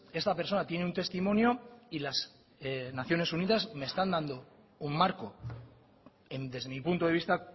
esta persona tiene un testimonio y las naciones unidas me están dando un marco desde mi punto de vista